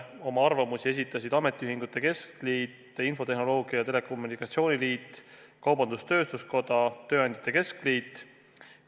Oma arvamusi esitasid Eesti Ametiühingute Keskliit, Eesti Infotehnoloogia ja Telekommunikatsiooni Liit, Eesti Kaubandus-Tööstuskoda ja Eesti Tööandjate Keskliit.